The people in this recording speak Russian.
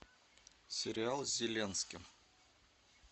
сериал с зеленским